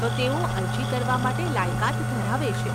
તો, તેઓ અરજી કરવા માટે લાયકાત ધરાવે છે.